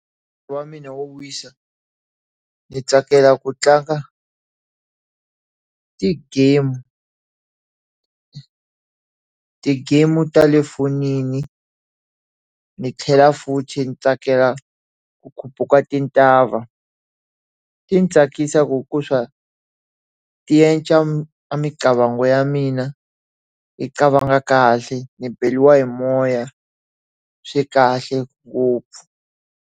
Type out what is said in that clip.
Wa mina wo wisa, ni tsakela ku tlanga ti-game ti-game ta le fonini. Ndzi tlhela futhi tsakela ku khuphuka tintshava. Tsakisa ku ku swa yi endla imicabango ya mina yi cabanga kahle, ndzi beriwa hi moya, swi kahle ngopfu.